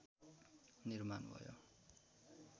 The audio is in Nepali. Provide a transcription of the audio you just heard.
निर्माण भयो